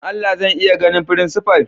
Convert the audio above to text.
Dan Allah zan iya ganin frincipa'n?